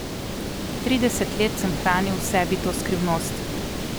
Trideset let sem hranil v sebi to skrivnost!